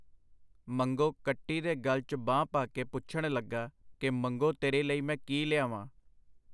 ਮੰਗੋ ਕੱਟੀ ਦੇ ਗਲ 'ਚ ਬਾਂਹ ਪਾ ਕੇ ਪੁੱਛਣ ਲੱਗਾ ਕਿ ਮੰਗੋ ਤੇਰੇ ਲਈ ਮੈਂ ਕੀ ਲਿਆਵਾਂ.